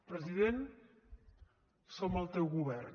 president som el teu govern